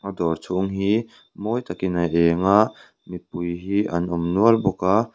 dawr chhung hi mawi takin a eng a mipui hi an awm nual bawk a.